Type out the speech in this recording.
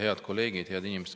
Head kolleegid!